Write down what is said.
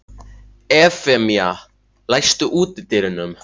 Evfemía, læstu útidyrunum.